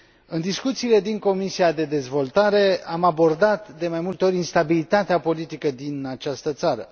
În discuțiile din Comisia pentru dezvoltare am abordat de mai multe ori instabilitatea politică din această țară.